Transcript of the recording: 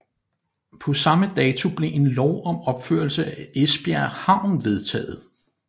På samme dato blev en lov om opførelse af Esbjerg Havn vedtaget